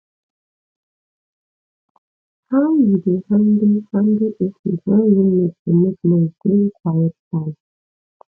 how you dey handle handle situation when roommate dey make noise during quiet time